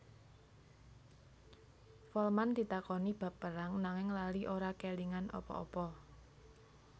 Folman ditakoni bab perang nanging lali ora kélingan apa apa